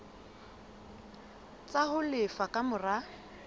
tsa ho lefa ka mora